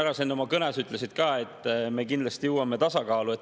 Sa siin oma kõnes ütlesid ka, et me kindlasti jõuame tasakaalu.